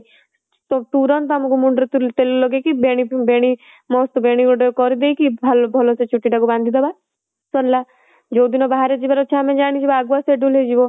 ତ ତୁରନ୍ତ ଆମକୁ ମୁଣ୍ଡ ରେ ତେଲ ଲଗେଇକି ବେଣୀ ବେଣୀ ବେଣୀ ଗୋଟେ କରିଦେଇକି ଭଲସେ ଚୁଟି ଟା କୁ ବାନ୍ଧିଦେବା ସରିଲା ଯୋଉ ଦିନ ବାହାରେ ଯିବା ର ଅଛି ଆମେ ଜାଣିଯିବା ଆଗୁଆ schedule ହେଇଯିବ